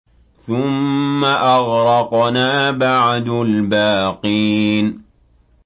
ثُمَّ أَغْرَقْنَا بَعْدُ الْبَاقِينَ